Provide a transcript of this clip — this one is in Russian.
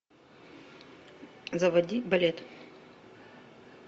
заводи балет